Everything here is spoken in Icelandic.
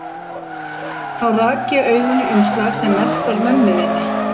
Þá rak ég augun í umslag sem merkt var mömmu þinni.